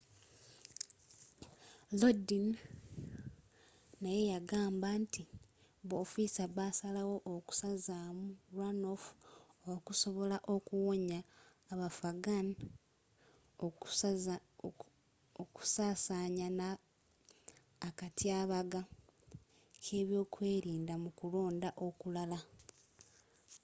lodin naye yagamba nti b'ofiisa basalawo okusazaamu runoff okusobola okuwonya abafghan okusasaanya na akatyabaga k'ebyokwelinda mu kulonda okulala